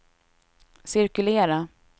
cirkulera